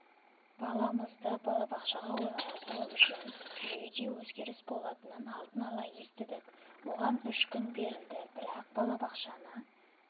баламызды балабақшаға орналастыру үшін жүйеде өзгеріс болатынын алдын ала естідік оған үш күн берілді бірақ балабақшаны